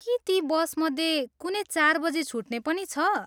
के ती बसमध्ये कुनै चार बजी छुट्ने पनि छ?